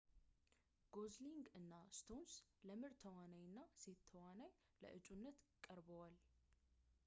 ጎዝሊንግ እና ስቶንስ ለምርጥ ተዋናይ እና ሴት ተዋናይ ለአጩነት ቀርብዋል